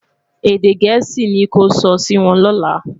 èdè gèésì ní kò sò Si Won lola